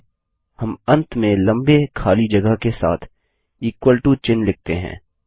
फिर चलिए हम अंत में लम्बे खाली जगह के साथ इक्वल टो चिह्न लिखते हैं